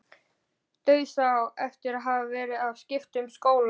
Dauðsá eftir að hafa verið að skipta um skóla.